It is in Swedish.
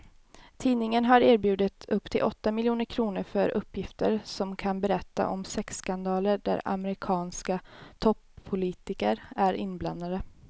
Tidningen har erbjudit upp till åtta miljoner kr för uppgifter som kan berätta om sexskandaler där amerikanska toppolitiker är inblandade.